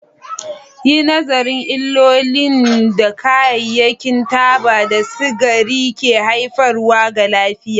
Yi nazarin illolin da kayayyakin taba da sigari ke haifarwa ga lafiya.